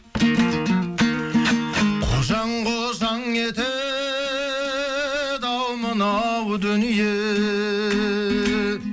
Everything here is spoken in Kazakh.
қожаң қожаң етеді ау мынау дүние